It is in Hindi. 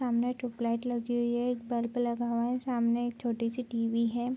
सामने ट्यूबलाइट लगी हुई है एक बल्ब लगा है सामने एक छोटी-सी टी.वी. है।